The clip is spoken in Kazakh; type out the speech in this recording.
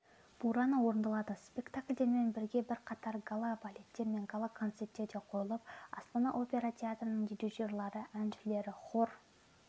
бурана орындалады спектакльдермен біргебірқатар гала-балеттер мен гала-концерттер де қойылып астана опера театрының дирижерлары әншілері хор